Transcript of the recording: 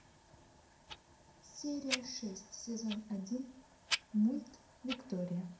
серия шесть сезон один мульт виктория